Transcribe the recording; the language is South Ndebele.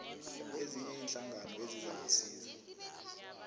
ezinye iinhlangano ezizakusiza